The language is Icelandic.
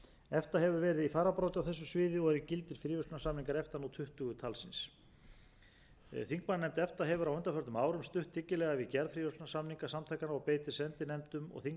efta hefur verið í fararbroddi á þessu sviði og eru gildir fríverslunarsamningar efta nú tuttugu talsins þingmannanefnd efta hefur á undanförnum árum stutt dyggilega við gerð fríverslunarsamninga samtakanna og beitir sendinefndum og þingmannaheimsóknum til